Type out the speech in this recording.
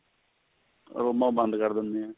ਬੰਦ ਕਰ ਦੇਂਦੀ ਏ